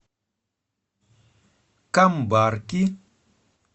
камбарки